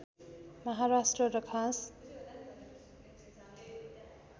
महाराष्ट्र र खास